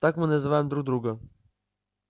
так мы называем друг друга